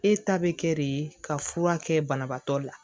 E ta bɛ kɛ de ka fura kɛ banabaatɔ la